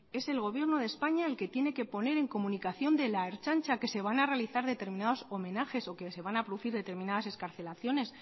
es el gobierno de españa el que tiene que poner en comunicación de la ertzaintza que se van a realizar determinados homenajes o que se van a producir determinadas excarcelaciones